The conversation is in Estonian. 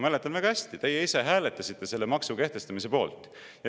Ma mäletan väga hästi, teie ise hääletasite selle maksu kehtestamise poolt.